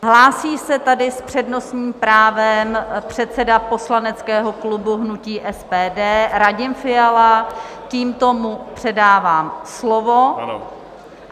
Hlásí se tady s přednostním právem předseda poslaneckého klubu hnutí SPD Radim Fiala, tímto mu předávám slovo.